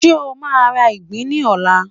ṣe o ma ra ìgbín ní ọlá